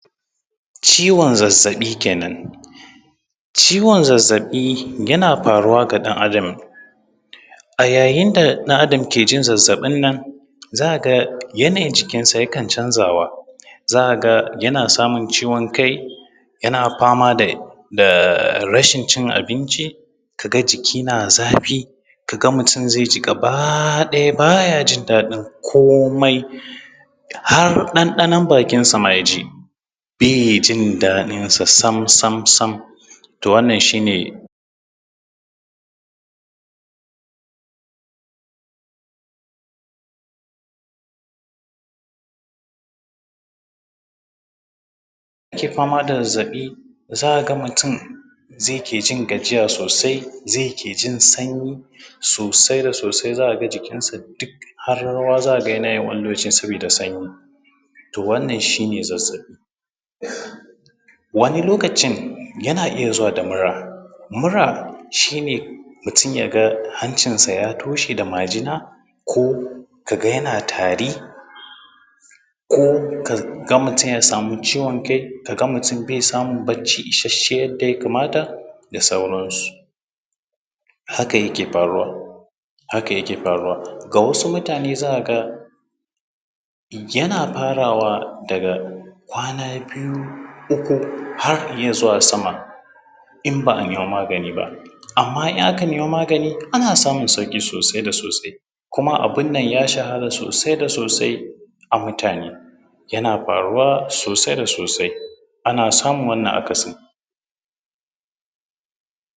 Ciwon zazzaɓi kenan. Ciwon zazzaɓi yana faruwa ga ɗan Adam a yayin da ɗan Adam ke jin zazzaɓin nan, za ka ga yanayin jikinsa yakan canzawa. Za ka ga yana samun ciwon kai, yana fama da rashin cin abinci, ka ga jiki na zafi, ka ga mutum zai ji gaba ɗaya baya jin daɗin komai. Har ɗanɗanon bakinsa ma ya ji bai jin daɗinsa sam sam sam. To wannan shi ne ake fama da zazzaɓi. Za ka ga mutum zai ke jin gajiya sosai zai ke jin sanyi sosai da sosai, za ka ga jikinsa duk har rawa za ka ga yanayi, wani lokacin saboda sanyi to wannan shine zazzaɓi. Wani lokacin yana iya zuwa da mura. Mura shine mutum ya ga hancin sa ya toshe da majina, ko ka ga yana tari, ko kaga mutum ya samu ciwon kai ka ga mutum bai samun bacci isasshen yanda yakamata da sauransu. Haka yake faruwa. Haka yake faruwa ga wasu mutane za ka ga yana farawa daga kwana biyu uku har izuwa sama in ba a nema magani ba. Amman in aka nema magani ana samun sauki sosai da sosai kuma abunnan ya shahara sosai da sosai a mutane. Yana faruwa sosai da sosai ana samun wannan akasin.